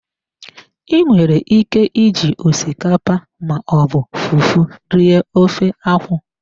I nwere ike iji osikapa ma ọ bụ fufu rie ofe akwụ.